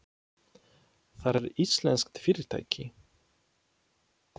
Það er íslenskt fyrirtæki.